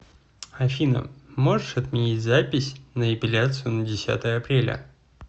афина можешь отменить запись на эпеляцию на десятое апреля